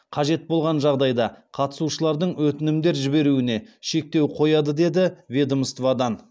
қажет болған жағдайда қатысушылардың өтінімдер жіберуіне шектеу қояды деді ведомстводан